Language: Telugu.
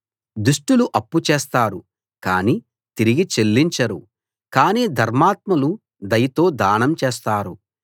దుష్టులు అప్పు చేస్తారు కానీ తిరిగి చెల్లించరు కానీ ధర్మాత్ములు దయతో దానం చేస్తారు